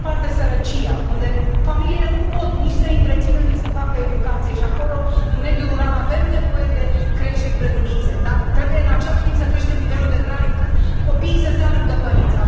Pe de o parte, sărăcia, unde familiile nu pot nici să i întrețină, nici să facă educație și, acolo, în mediul rural, avem nevoie de creșe, grădinițe, dar trebuie, în același timp, să creștem nivelul de trai, încât copiii să stea lângă părinți.